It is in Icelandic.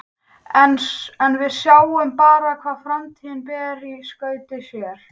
En við sjáum bara hvað framtíðin ber í skauti sér.